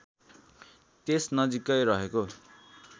त्यस नजिकै रहेको